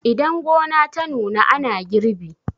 idan gona ta nuna ana girbi